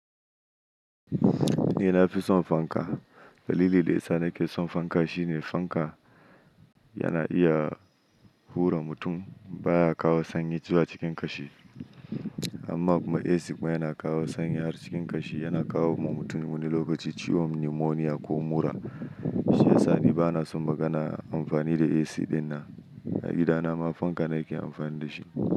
Ni nafi son fanka. Dalilin da yasa nake son fanka shine fanka yana iya hura mutum, baya kawo sanyi zuwa cikin ƙashi. Amma kuma AC yana kawo sanyi har cikin ƙashi, yana kawo wa mutum wani lokaci ciwon pneumonia ko mura. Shi ya sa ni bana son maganar amfani da AC ɗin na. A gida na ma, fanka nake amfani da shi.